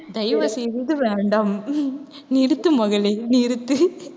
தயவு செய்து வேண்டாம் நிறுத்து மகளே நிறுத்து.